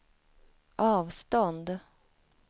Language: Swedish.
avstånd